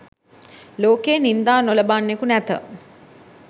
ලෝකයේ නින්දා නොලබන්නෙකු නැත.